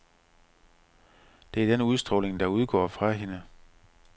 Det er den udstråling, der udgår fra hende.